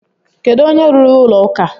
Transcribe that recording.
Kedu onye rụrụ ụlọ ụka?